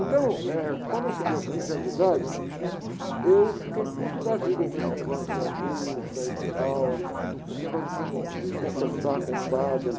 Então, eh, quando eu cheguei aos quinze anos de idade, eu fiquei puto da vida com esse negócio de ir à missa e tal, esse negócio de com, de confessar com o padre.